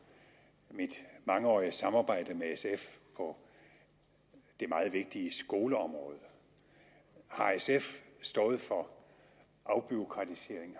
mit mangeårige samarbejde med sf på det meget vigtige skoleområde har sf stået for afbureaukratisering